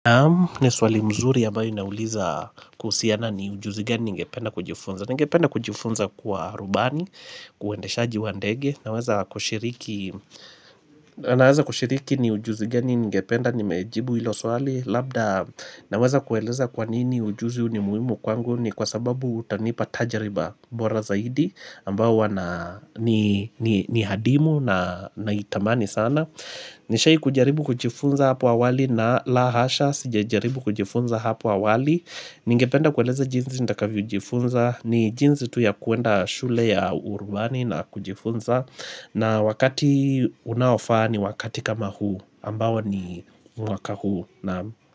Ne swali mzuri ambayo inauliza kuhusiana ni ujuzi gani ningependa kujifunza. Ningependa kujifunza kuwa rubani, kuwendeshaji wa ndege, naweza kushiriki Naeza kushiriki ni ujuzi gani ningependa nimejibu ilo swali. Labda naweza kueleza kwa nini ujuzi hu ni muhimu kwangu ni kwa sababu utanipa tajiriba bora zaidi. Ambao huwa na ni ni ni hadimu na naitamani sana. Nishai kujaribu kujifunza hapo awali na la hasha sijajaribu kujifunza hapo awali Ningependa kueleza jinzi ndakavyo jifunza. Ni jinzi tu ya kuenda shule ya urubani na kujifunza na wakati unaofaa ni wakati kama huu, ambao ni mwaka huu. Naam.